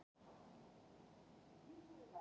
Við eigum góðan möguleika á því